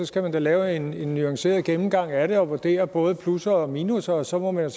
skal man da lave en nuanceret gennemgang af det og vurdere både plusser og minusser og så må man